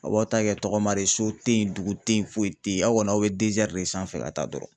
Aw b'aw ta kɛ tɔgɔma de ye so tɛ yen dugu tɛ yen, foyi tɛ yen, aw kani aw bɛ de sanfɛ ka taa dɔrɔn,.